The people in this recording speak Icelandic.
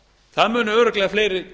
það munu örugglega fleiri